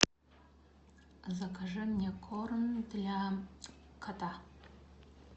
закажи мне корм для кота